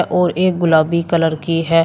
और एक गुलाबी कलर की है।